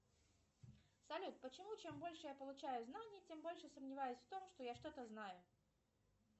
салют почему чем больше я получаю знаний тем больше сомневаюсь в том что я что то знаю